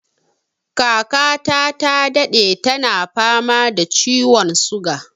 Kaka ta ta daɗe tana fama da ciwon suga